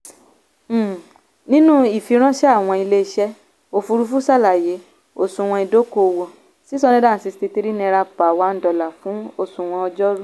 um nínú ìfìránṣẹ́ àwọn ilé-iṣẹ́ òfuurufú ṣàlàyé òṣùwọ̀n ìdókòwò six hundred and sixty three naira fún òṣùwọ̀n ọjọ́rú.